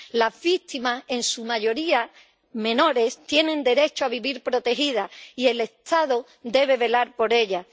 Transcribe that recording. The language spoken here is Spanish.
Las víctimas, en su mayoría menores, tienen derecho a vivir protegidas y el Estado debe velar por ellas.